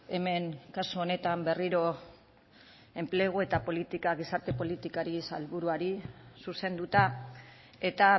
hemen kasu honetan berriro enplegu eta politika gizarte politikari sailburuari zuzenduta eta